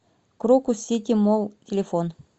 крокус сити молл телефон